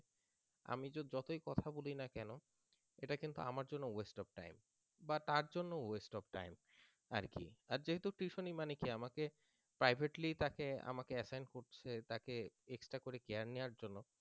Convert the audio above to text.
আমি যতই কথা বলি না কেন সেটা কিন্তু আমার জন্য waste of time বা তার জন্য ও waste of time আর কি আর যেহেতু tuition নি মানে কি আমাকে privately তাকে আমাকে assign করছে তাকে extra করে care নেয়ার জন্য